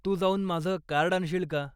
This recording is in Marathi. तू जाऊन माझ कार्ड आणशील का?